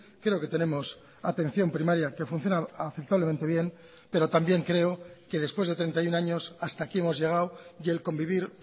creo que tenemos atención primaria que funciona aceptablemente bien pero también creo que después de treinta y uno años hasta aquí hemos llegado y el convivir